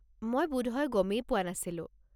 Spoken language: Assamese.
মই বোধহয় গমেই পোৱা নাছিলো।